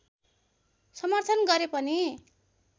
समर्थन गरे पनि